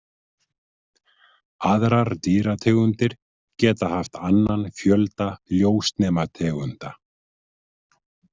Aðrar dýrategundir geta haft annan fjölda ljósnemategunda.